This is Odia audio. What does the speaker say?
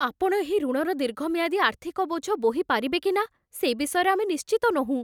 ଆପଣ ଏହି ଋଣର ଦୀର୍ଘମିଆଦୀ ଆର୍ଥିକ ବୋଝ ବୋହି ପାରିବେ କି ନା, ସେ ବିଷୟରେ ଆମେ ନିଶ୍ଚିତ ନୋହୁଁ।